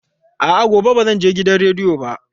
A'a, gobe ba zan je gidan rediyo ba.